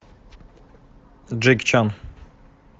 джеки чан